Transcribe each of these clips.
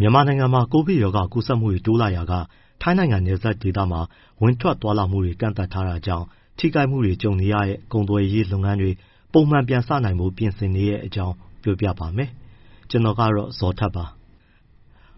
မြန်မာနိုင်ငံမှာ ကပ်ရောဂါကူးစက်မှုတွေ တိုးလာရာက ထိုင်းနိုင်ငံနဲ့ နယ်စပ်ဒေသမှာ ဝင်ထွက်သွားလာမှုတွေ ကန့်သတ်ထားတာကြောင့် ထိခိုက်မှုတွေ ကြုံနေရတဲ့ ကုန်သွယ်ရေးလုပ်ငန်းတွေ ပုံမှန်ပြန်စနိုင်ဖို့ ပြင်ဆင်နေတဲ့အကြောင်းကို ဗွီအိုအေမြန်မာပိုင်း သတင်းထောက် ကိုဇော်ထက်က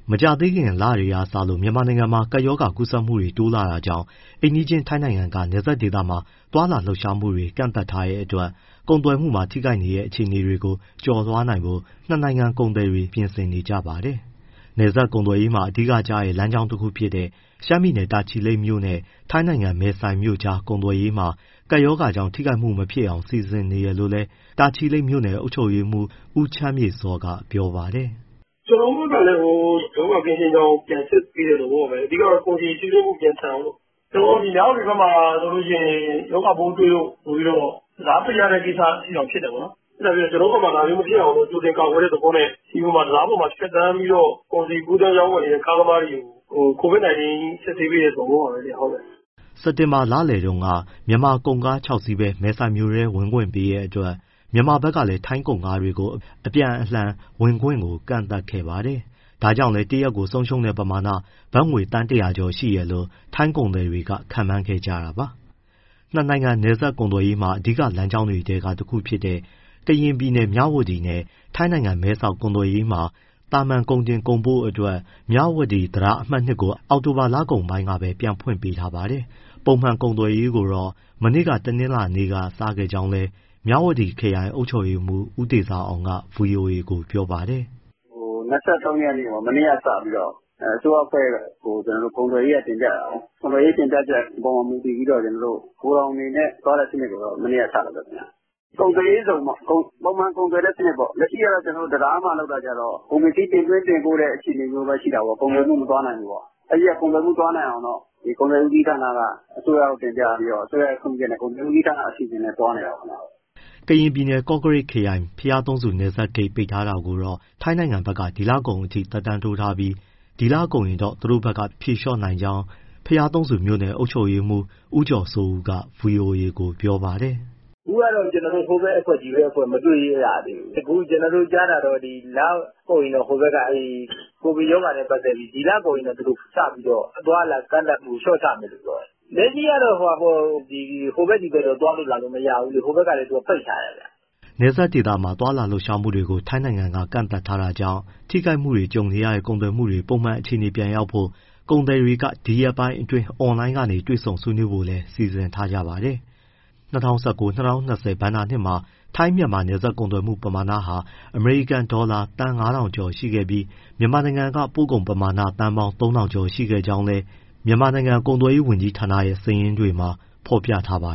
ပြောပြပေးပါမယ်။ မကြာသေးခင် လတွေကစလို့ မြန်မာနိုင်ငံမှာ ကပ်ရောဂါကူးစက်မှုတွေ တိုးလာတာကြောင့် အိမ်နီးချင်း ထိုင်းနိုင်ငံက နယ်စပ်ဒေသမှာ သွားလာလှုပ်ရှားမှုတွေ ကန့်သတ်ထားတဲ့အတွက် ကုန်သွယ်မှုတွေမှာ ထိခိုက်နေတဲ့ အခြေအနေတွေကို ကျော်လွှားနိုင်ဖို့ နှစ် နိုင်ငံ ကုန်သည်တွေ ပြင်ဆင်နေကြပါတယ်။ နယ်စပ်ကုန်သွယ်ရေးမှာ အဓိကကျတဲ့ လမ်းကြောင်းတခုဖြစ်တဲ့ ရှမ်းပြည်နယ် တာချီလိတ်မြို့နဲ့ ထိုင်းနိုင်ငံ မဲဆိုင်မြို့ကြား ကုန်သွယ်ရေးမှာ ကပ်ရောဂါကြောင့် ထိခိုက်မှုတွေ မဖြစ်အောင် စီစဉ်နေတယ်လို့လည်း တာချီလိတ်မြို့နယ်အုပ်ချုပ်ရေးမှူး ဦးချမ်းမြေ့စောက ပြောပါတယ်။ “ကျနော်တို့ဘက်ကလည်း ရောဂါကင်းရှင်းကြောင်း ပြန်စစ်ဆေးတဲ့ သဘောပဲ။ အဓိကတော့ ကုန်စည်စီးဆင်းမှု မြန်ဆန်အောင်လို့။ နဂို မြဝတီဘက်မှာဆိုရင် ရောဂါပိုးတွေ့လို့ဆိုပြီး တံတားပိတ်ရတဲ့အထိတောင် ဖြစ်တယ်ပေါ့နော်။ ကျနော်တို့ဘက်မှာ ဒါမျိုးမဖြစ်အောင် ကြိုတင်ကာကွယ်တဲ့ သဘောနဲ့ တံတားပေါ်မှာ ဖြတ်သန်းပြီးတော့ ကုန်စည်ကူးသန်းနေတဲ့ ကားသမားတွေကို COVID-19 စစ်ဆေးပေးတဲ့ သဘောပါပဲခင်ဗျ။” စက်တင်ဘာလလယ်တုန်းက မြန်မာကုန်ကား ၆ စီးပဲ မဲဆိုင်မြို့ထဲ ဝင်ခွင့်ပေးတဲ့အတွက် မြန်မာဘက်ကလည်း ထိုင်းကုန်ကားတွေကို အပြန်အလှန် ဝင်ခွင့်ကန့်သတ်ခဲ့ပါတယ်။ ဒါကြောင့်တရက်ကို ဆုံးရှုံးတဲ့ပမာဏ ဘတ်ငွေ သန်း ၁၀၀ ကျော်ရှိတယ်လို့ ထိုင်းကုန်သည်တွေက ခန့်မှန်းခဲ့ကြပါတယ်။ နှစ် နိုင်ငံနယ်စပ်ကုန်သွယ်ရေးမှာ အဓိကလမ်းကြောင်းတွေထဲက တခုဖြစ်တဲ့ ကရင်ပြည်နယ် မြဝတီနဲ့ ထိုင်းနိုင်ငံ မဲဆောက် ကုန်သွယ်ရေးမှာ သာမန်ကုန်တင်၊ ကုန်ပို့အတွက် မြဝတီတံတား အမှတ် ၂ ကို အောက်တိုဘာ လကုန်ပိုင်းကပဲ ပြန်ဖွင့်ပေးထားပါတယ်။ ပုံမှန်ကုန်သွယ်ရေးကိုတော့ မနေ့ တနင်္လာနေ့က စခဲ့ကြောင်းလည်း မြဝတီခရိုင် အုပ်ချုပ်ရေးမှုး ဦးတေဇာအောင်က ဗွီအိုအေကို ပြောပါတယ်။ “၂၃ ရက် မနေ့ကစပြီးတော့ အစိုးရအဖွဲ့ကို ကုန်သွယ်ရေးက တင်ပြတာကိုး။ ကုန်သွယ်ရေး တင်ပြချက်အပေါ် မူတည်ပြီးတော့ ဂိုထောင်တွေနဲ့ သွားတဲ့စနစ်ကို မနေ့က စလုပ်တယ်ခင်ဗျ။ ကုန်သွယ်ရေးဇုန်ပေါ့... ပုံမှန်ကုန်သွယ်တဲ့စနစ်ပေါ့။ လက်ရှိက တံတားမှာလုပ်တာကျတော့ ကုန်ပစ္စည်း တင်သွင်း၊ တင်ပို့တဲ့ အခြေအနေမျိုးပဲ ရှိတာကိုး၊ ကုန်သွယ်မှုမသွားနိုင်ဘူး။ အဲဒါမို့ ကုန်သွယ်မှု သွားနိုင်အောင် ကုန်သွယ်ဦးစီးဌာနက အစိုးရကို တင်ပြပြီးတော့ အစိုးရရဲ့ ခွင့်ပြုချက်နဲ့ ကုန်သွယ်ဦးစီးဌာန အစီအစဉ်နဲ့သွားနေတာပေါ့။” ကရင်ပြည်နယ်၊ ကော့ကရိတ်ခရိုင် ဘုရားသုံးဆူ နယ်စပ်ဂိတ် ပိတ်ထားတာကို ထိုင်းဘက်က ဒီလကုန်အထိ သက်တမ်းတိုးထားပြီး ဒီလကုန်ရင်တော့ သူတို့ဘက်က ဖြေလျှော့နိုင်ကြောင်း ဘုရာသုံးဆူမြို့နယ် အုပ်ချုပ်ရေးမှူး ဦးကျော်စိုးဦးက ဗွီအိုအေကို ပြောပါတယ်။ “အခုက ကျနော်တို့ ဟိုဘက်အဖွဲ့၊ ဒီဘက်အဖွဲ့ မတွေ့ကြသေးဘူး။ အခုကျနော်တို့ကြားတာကတော့ ဒီလကုန်ရင်တော့ ဟိုဘက်က ကိုဗစ်ရောဂါနဲ့ ပတ်သက်ပြီး ဒီလကုန်ရင်စပြီး အသွားအလာကန့်သတ်မှု လျှော့ချမယ်လို့ပြောတယ်။ လက်ရှိကတော့ ဟိုဘက်၊ ဒီဘက် သွားလို့မရဘူးလေ၊ ဟိုဘက်ကလည်း ပိတ်ထားတယ်ဗျ။” နယ်စပ်ဒေသမှာ သွားလာလှုပ်ရှားမှုတွေကို ထိုင်းနိုင်ငံက ကန့်သတ်ထားတာကြောင့် ထိခိုက်မှုတွေ ကြုံနေရတဲ့ ကုန်သွယ်မှုတွေ ပုံမှန်အခြေအနေပြန်ရောက်ဖို့ ကုန်သည်တွေ ဒီရက်ပိုင်းအတွင်း အွန်လိုင်းကနေ တွေ့ဆုံဆွေးနွေးဖို့လည်း စီစဉ်နေပါတယ်။ ၂၀၁၉-၂၀၂၀ ဘဏ္ဍာနှစ်မှာ ထိုင်း၊ မြန်မာ နယ်စပ်ကုန်သွယ်မှု ပမာဏဟာ အမေရိကန်ဒေါ်လာ သန်း ၅,၀၀၀ ကျော် ရှိခဲ့ပြီး၊ မြန်မာနိုင်ငံက ပို့ကုန်ပမာဏက သန်းပေါင်း ၃,၀၀၀ ကျော် ရှိခဲ့ကြောင်းလည်း မြန်မာနိုင်ငံကုန်သွယ်ရေး ဝန်ကြီးဌာနရဲ့ စာရင်းတွေမှာ ဖော်ပြထားပါ